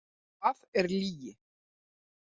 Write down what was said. Það er lygi!